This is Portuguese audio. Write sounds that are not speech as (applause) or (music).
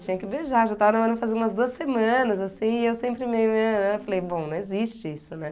Tinha que beijar, já estava namorando fazia umas duas semanas, assim, e eu sempre meio. (unintelligible) Falei bom, não existe isso, né?